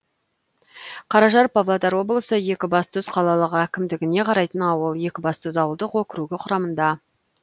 қаражар павлодар облысы екібастұз қалалық әкімдігіне қарайтын ауыл екібастұз ауылдық округі құрамында